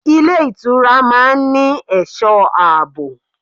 Ilé ìtura máa ń ní ẹ̀sọ́ àbò.